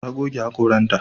Ta goge haƙoranta.